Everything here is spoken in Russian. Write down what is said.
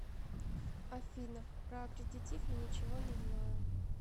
афина про аккредитив я ничего не знаю